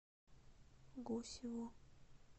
гусеву